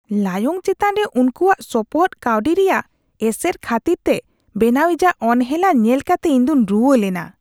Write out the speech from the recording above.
ᱞᱟᱭᱚᱝ ᱪᱮᱛᱟᱱ ᱨᱮ ᱩᱱᱠᱩᱣᱟᱜ ᱥᱚᱯᱚᱦᱚᱫ ᱠᱟᱹᱣᱰᱤ ᱨᱮᱭᱟᱜ ᱮᱥᱮᱨ ᱠᱷᱟᱹᱛᱤᱨ ᱛᱮ ᱵᱮᱱᱟᱣᱤᱡᱟᱜ ᱚᱱᱦᱮᱞᱟ ᱧᱮᱞ ᱠᱟᱛᱮ ᱤᱧᱫᱩᱧ ᱨᱩᱣᱟᱹᱞᱮᱱᱟ ᱾